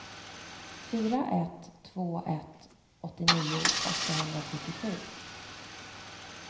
fyra ett två ett åttionio åttahundrafyrtiosju